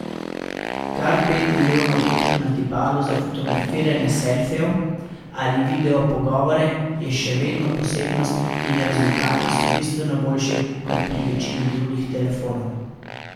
Kar pet milijonov točk na tipalu za fotografiranje selfijev ali video pogovore je še vedno posebnost in rezultati so bistveno boljši kot pri večini drugih telefonov.